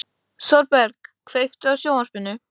Þorberg, kveiktu á sjónvarpinu.